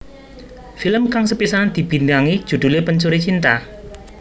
Film kang sepisanan dibintangi judhulé Pencuri Cinta